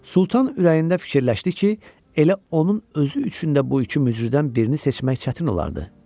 Sultan ürəyində fikirləşdi ki, elə onun özü üçün də bu iki mücrüdən birini seçmək çətin olardı.